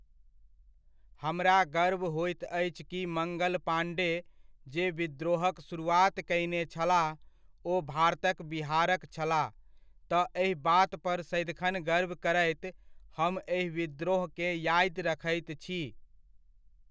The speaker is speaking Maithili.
हमरा गर्व होइत अछि कि मङ्गल पाण्डे, जे विद्रोहक शुरुआत कयने छलाह, ओ भारतक बिहारक छलाह, तऽ एहि बात पर सदिखन गर्व करैत, हम एहि विद्रोहकेँ यादि रखैत छी।